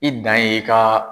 I dan ye i ka